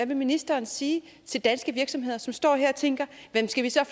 vil ministeren sige til danske virksomheder som står her og tænker skal vi så